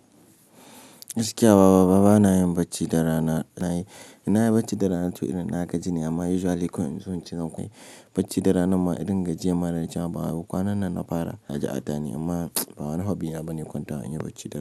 Gaskiya baba, bana yin bacci da rana. Na yi bacci da rana tun irin na gaji ne amma usually koyaushe zan kwai bacci da rana. Ma idan gajiyata ba a kwana nan na fara gaji a dani amma bana hob, ɗina bane kwanta in yi bacci da rana.